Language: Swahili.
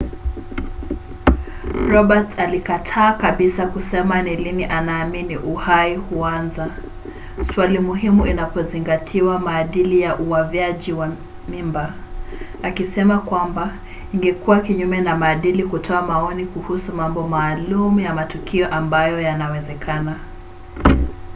roberts alikataa kabisa kusema ni lini anaamini uhai huanza swali muhimu inapozingatiwa maadili ya uavyaji mimba akisema kwamba ingekuwa kinyume na maadili kutoa maoni kuhusu mambo maalum ya matukio ambayo yanawezekana